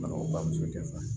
bamuso tɛ fa